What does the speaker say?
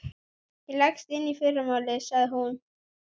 Ég leggst inn í fyrramálið, sagði hún.